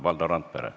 Valdo Randpere.